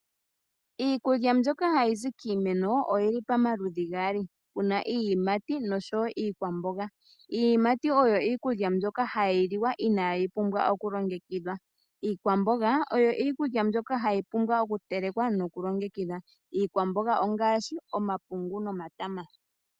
Iikulya mbyoka hayi zi kiimeno, oyi li pamaludhi gaali. Pu na iiyimati po pu na iikwamboga. Iiyimati oyo iikulya mbyoka hayi liwa inaayi pumbwa oku longekidhwa. Iikwamboga oyo iikulya mbyoka hayi vulu okutelekwa noku longekidhwa. Iikwamboga ongaashi omapungu nomatama.